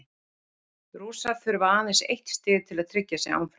Rússar þurfa aðeins eitt stig til að tryggja sig áfram.